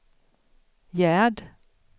Gerd